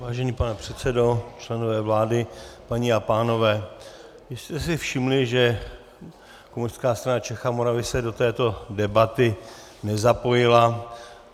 Vážený pane předsedo, členové vlády, paní a pánové, jistě jste si všimli, že Komunistická strana Čech a Moravy se do této debaty nezapojila.